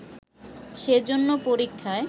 সেজন্য পরীক্ষায়